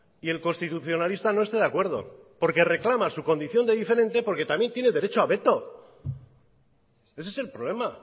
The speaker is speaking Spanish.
y el constitucionalista no esté de acuerdo porque reclama su condición de diferente porque también tiene derecho a veto ese es el problema